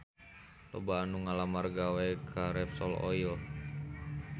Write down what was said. Loba anu ngalamar gawe ka Repsol Oil